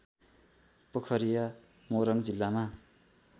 पोखरिया मोरङ जिल्लामा